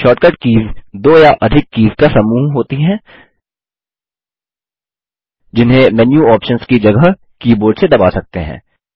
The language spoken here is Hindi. शॉर्टकट कीज़ दो या अधिक कीज़ का समूह होती हैं जिन्हें मेन्यू ऑप्शन्स की जगह कीबोर्ड से दबा सकते हैं